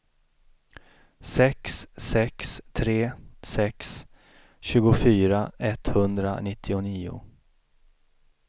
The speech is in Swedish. sex sex tre sex tjugofyra etthundranittionio